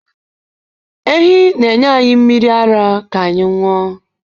Ehi na-enye anyị mmiri ara ka anyị ṅụọ.